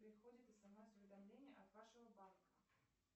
приходит смс уведомление от вашего банка